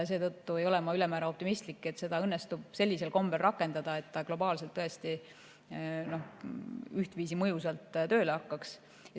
Seetõttu ei ole ma ülemäära optimistlik, et seda õnnestub sellisel kombel rakendada, et ta globaalselt ühtviisi mõjusalt tööle hakkaks.